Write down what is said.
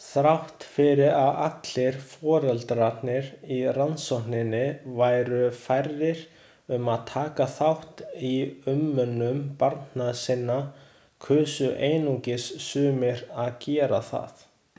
Þrátt fyrir að allir foreldrarnir í rannsókninni væru færir um að taka þátt í umönnun barna sinna kusu einungis sumir að gera það.